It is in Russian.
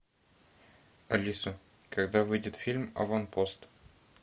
алиса когда выйдет фильм аванпост